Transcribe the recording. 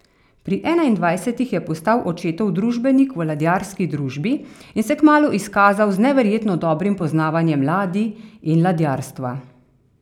Pri enaindvajsetih je postal očetov družbenik v ladjarski družbi in se kmalu izkazal z neverjetno dobrim poznavanjem ladij in ladjarstva.